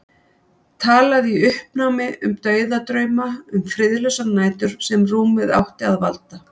Talaði í uppnámi um dauðadrauma, um friðlausar nætur sem rúmið átti að valda.